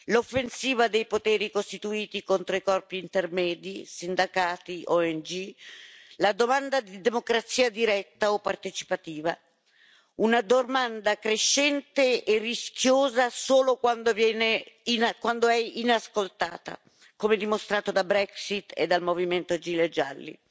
l'offensiva dei poteri costituiti contro i corpi intermedi, sindacati o ONG, la domanda di democrazia diretta o partecipativa, una domanda crescente e rischiosa solo quando è inascoltata, come dimostrato dalla Brexit e dal movimento dei gilet gialli.